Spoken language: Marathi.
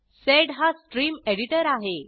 सेड हा स्ट्रीम एडिटर आहे